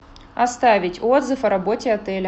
оставить отзыв о работе отеля